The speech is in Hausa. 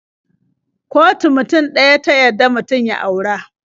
Kotu mutum ɗaya ta yadda mutum ya aura.